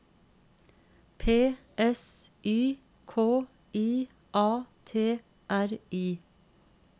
P S Y K I A T R I